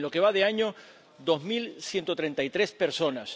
En lo que va de año 2133 personas.